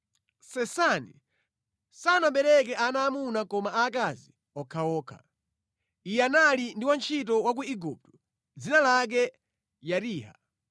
Sesani sanabereke ana aamuna koma aakazi okhaokha. Iye anali ndi wantchito wa ku Igupto, dzina lake Yariha.